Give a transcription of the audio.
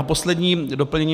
A poslední doplnění.